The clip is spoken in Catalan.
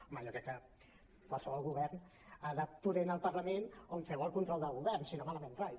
home jo crec que qualsevol govern ha de poder anar al parlament on feu el control del govern si no malament rai